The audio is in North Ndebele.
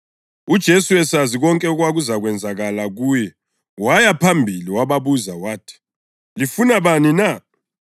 UJesu esazi konke okwakuzakwenzakala kuye waya phambili wababuza wathi, “Lifuna bani na?”